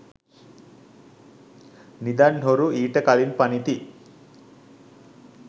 නිදන් හොරු ඊට කලින් පනිති